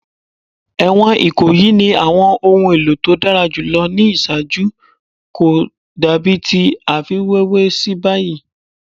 Ẹwọn Ikoyi ni awọn ohun elo to dara julọ ni iṣaaju ko dabi ti a fiwewe si bayi